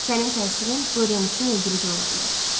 Sənin təsirin Dorian üçün öldürücü ola bilər.